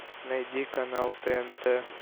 найди канал тнт